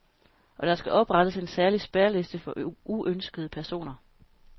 Og der skal oprettes en særlig spærreliste for uønskede personer.